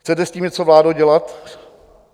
Chcete s tím něco, vládo, dělat?